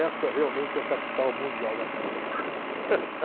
Essa realmente é a capital mundial da pizza.